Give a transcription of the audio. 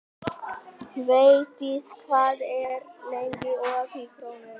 Védís, hvað er lengi opið í Krónunni?